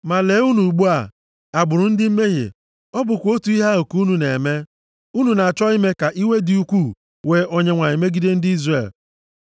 “Ma lee unu ugbu a, agbụrụ ndị mmehie, ọ bụkwa otu ihe ahụ ka unu na-eme! Unu na-achọ ime ka iwe dị ukwuu wee Onyenwe anyị megide ndị Izrel.